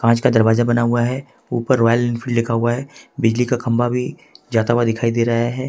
कांच का दरवाजा बना हुआ है ऊपर रॉयल एनफील्ड लिखा हुआ है बिजली का खंबा भी जाता हुआ दिखाई दे रहा है।